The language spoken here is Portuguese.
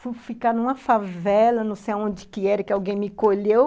Fui ficar numa favela, não sei onde que era, que alguém me colheu.